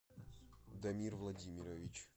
дамир владимирович